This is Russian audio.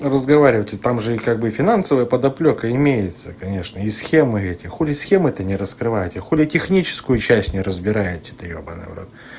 разговаривать и там же и как бы финансовая подоплёка имеется конечно и схемы эти хули схемы то не раскрываете хули техническую часть не разбираете то ёбаный в рот